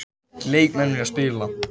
Leikmenn vilja spila